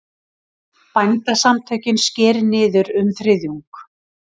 Bændasamtökin skeri niður um þriðjung